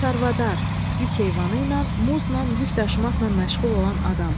Çarvadar, yük heyvanı ilə muznan yük daşımaqla məşğul olan adam.